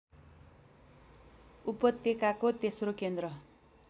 उपत्यकाको तेस्रो केन्द्र